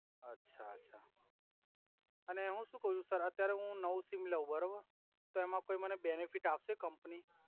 અછા અછા અને હુ સુ કવ સર અત્યારે હુ નવુ સિમ લવ બરોબર તો એમા કોઇ મને બેનિફીટ આપસે કમ્પની